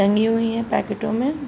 टंगी हुई हैं पैकेटों में।